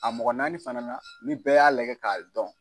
A mɔgɔ naani fana na ni bɛɛ y'a lajɛ k'a dɔn.